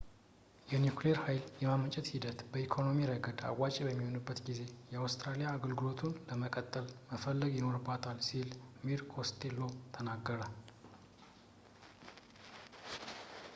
የኒኩሌር ሃይል የማመንጨት ሂደት በኢኮኖሚ ረገድ አዋጪ በሚሆንበት ጊዜ አውስትራሊያ አገልግሎቱን ለመጠቀም መፈለግ ይኖርባታል ሲል mr costello ተናገረ